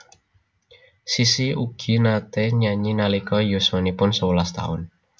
Sissy ugi naté nyanyi nalika yuswanipun sewelas taun